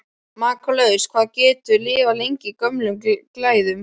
Makalaust hvað það getur lifað lengi í gömlum glæðum!